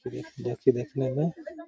देखि देखने में --